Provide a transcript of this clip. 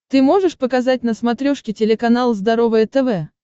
ты можешь показать на смотрешке телеканал здоровое тв